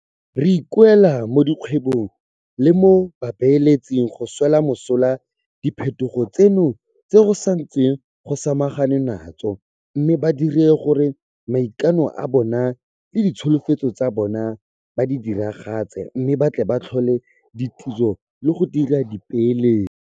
Re ikuela mo dikgwebong le mo babeeletsing go swela mosola diphetogo tseno tse go santsweng go samaganwe natso mme ba dire gore maikano a bona le ditsholofetso tsa bona ba di diragatse mme ba tle ba tlhole ditiro le go dira dipeeletso.